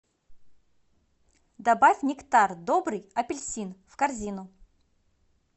добавь нектар добрый апельсин в корзину